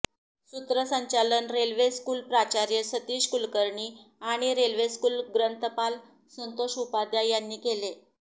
सूत्रसंचालन railway school प्राचार्य सतीश कुळकर्णी आणि रेल्वे स्कूल ग्रंथपाल संतोष उपाध्याय यांनी केले